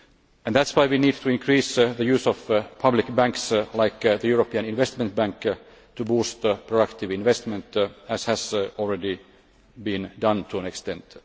And this is why we need to increase the use of public banks like the European Investment Bank to boost pro active investment, as has already been done to an extent.